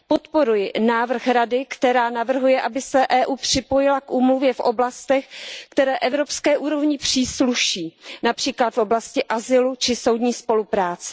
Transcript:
Podporuji návrh Rady, která navrhuje, aby se Evropská unie připojila k úmluvě v oblastech, které Evropské unii přísluší, například v oblasti azylu či soudní spolupráce.